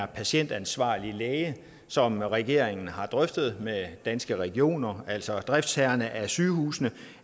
patientansvarlig læge som regeringen har drøftet med danske regioner altså driftsherrerne af sygehusene